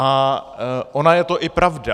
A ona je to i pravda.